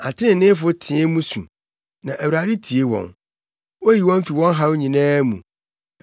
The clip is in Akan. Atreneefo teɛ mu su, na Awurade tie wɔn; oyi wɔn fi wɔn haw nyinaa mu.